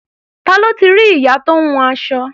Ta ló ti rí ìyá tó ń hun aṣọ?